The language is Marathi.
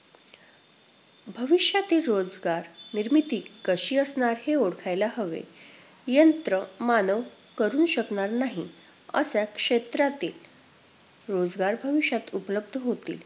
भविष्यातील रोजगार निर्मिती कशी असणार हे ओळखायला हवे. यंत्रमानव करु शकणार नाही अश्या क्षेत्रातील रोजगार भविष्यात उपलब्ध होतील.